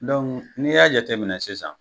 n'i y'a jateminɛ sisan.